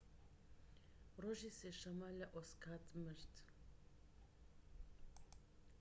ڕۆژی سێ شەمە لە ئۆساکا مرد